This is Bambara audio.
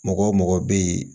Mɔgɔ mɔgɔ bɛ ye